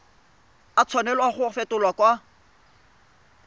a tshwanela go fetolwa kwa